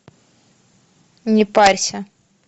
не парься